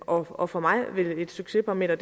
og for mig vil et succesparameter